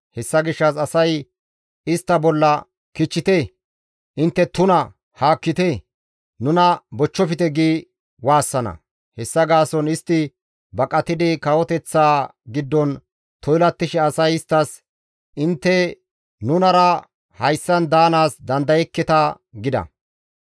Hessa gishshas asay istta bolla, «Kichchite! Intte tuna! Haakkite! Nuna bochchofte!» gi waassana. Hessa gaason istti baqatidi kawoteththaa giddon toylattishe asay isttas, «Intte nunara hayssan daanaas dandayekketa» gida.